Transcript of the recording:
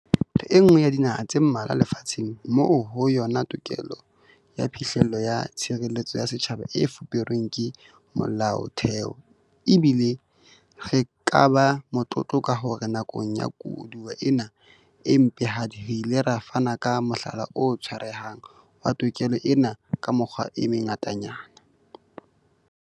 Re enngwe ya dinaha tse mmalwa lefa tsheng moo ho yona tokelo ya phihlello ya tshireletso ya setjhaba e fuperweng ke Molaotheo, ebile re ka ba motlotlo ka hore nakong ya koduwa ena e mpehadi re ile ra fana ka mohlala o tshwarehang wa tokelo ena ka mekgwa e mengatanyana.